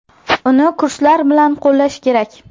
Uni kurslar bilan qo‘llash kerak.